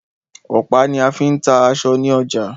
Ọ̀pá ní a fí ń ta aṣọ ní ọjà.